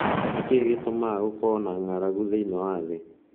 Nĩ kĩĩ gĩtũmaga gũkorũo na ng'aragu thĩinĩ wa thĩ?